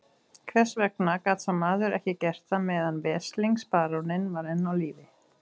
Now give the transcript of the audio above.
Hvers vegna gat sá maður ekki gert það meðan veslings baróninn var enn á lífi?